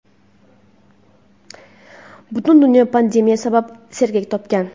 Butun dunyo pandemiya sabab sergak tortgan.